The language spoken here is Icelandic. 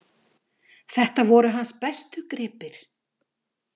Þetta voru hans bestu gripir.